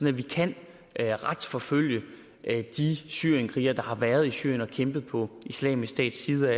at vi kan retsforfølge de syrienskrigere der har været i syrien og kæmpet på islamisk stats side